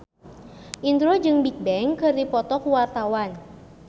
Indro jeung Bigbang keur dipoto ku wartawan